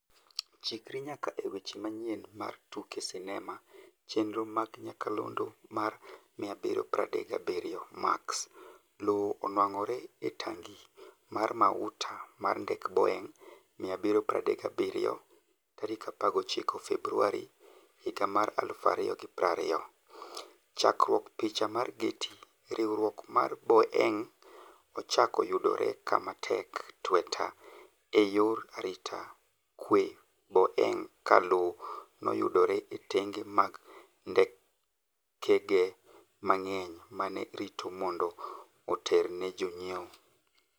Chikri nyaka e weche manyien mar tuke sinema chenro mag nyakalondo mar 737 Max:Lowo onwang'ore e tangi mar mauta mar ndek Boeing' 737 19 Februari 2020. Chakruok Picha mar Getty: Riwruok mar Boeing' ochako yudore kama tek tweta e yor arita kwe bang' ka lowo noyudore e tenge mag ndekege mang'eny mane rito mondo oter ne jonyiew.